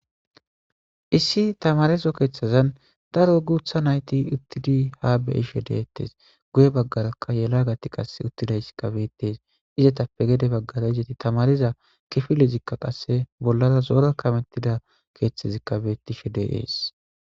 Issi thamaarezo keeththazan daro guuththa na7ithi uththidi haa be7ishe de7eeththes; guye baggaraka yelagathi qassi uththida izikka beeththes; izethappe ya baggara izethi thamaariza kifilezikka qassi bollara zo7ora kameththida keeththazikka beeththishe de7ees.